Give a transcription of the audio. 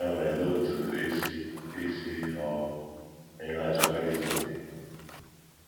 Ya mere olee otú i si i si ghọọ onye na - achọkarị izu okè?